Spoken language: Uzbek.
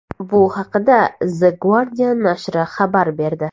Bu haqda The Guardian nashri xabar berdi.